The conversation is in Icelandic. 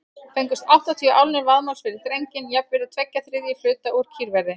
Fengust áttatíu álnir vaðmáls fyrir drenginn, jafnvirði tveggja þriðju hluta úr kýrverði.